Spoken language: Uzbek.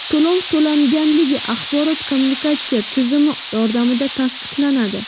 To‘lov to‘langanligi axborot-kommunikatsiya tizimi yordamida tasdiqlanadi.